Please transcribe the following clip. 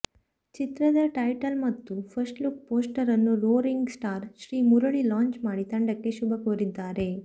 ಚಿತ್ರದ ಟೈಟಲ್ ಮತ್ತು first look poster ಅನ್ನು roaring star Sri Murali launch ಮಾಡಿ ತಂಡಕ್ಕೆ ಶುಭಕೋರಿದ್ದಾರೆ